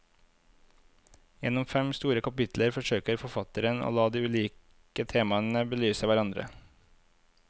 Gjennom fem store kapitler forsøker forfatterne å la de ulike temaene belyse hverandre.